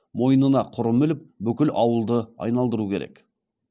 мойнына құрым іліп бүкіл ауылды айналдыру керек